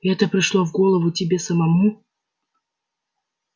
это пришло в голову тебе самому